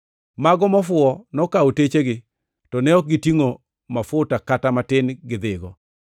Mago mofuwo nokawo techegi to ne ok gitingʼo mafuta kata matin gidhigo.